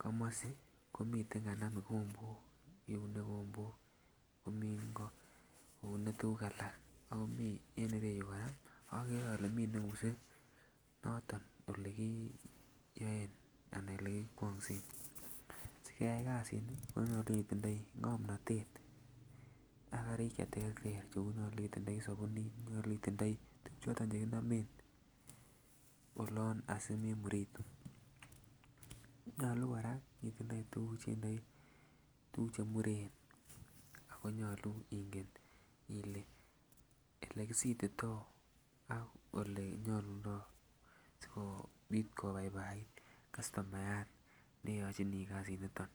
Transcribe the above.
komosi komiten kanam ikombok ikunee ikombok komii ingo iune tukuk alak ako mii en ireyuu koraa okere ole mii neunse noton olekiiyoen anan olekikwonsen. Sikeyai kasinii konyolu itindoi ngomnotet ak karik cheterter kou nyolu itindoi sobunit nyulu itindoi tukuk choton chekinomen olon asimemuritu. Nyolu Koraa itindoi tukuk cheindoi tukuk chemuren ako nyolu ingen Ile elekisitito ak ele nyolundo sikoo sikopit kobaibait kastomayat neyochinii kasiniton.